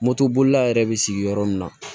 Moto bolila yɛrɛ bɛ sigi yɔrɔ min na